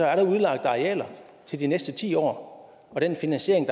er udlagt arealer til de næste ti år og den finansiering